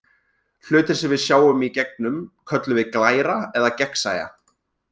Hlutir sem við sjáum í gegnum köllum við glæra eða gegnsæja.